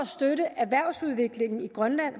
støtte erhvervsudviklingen i grønland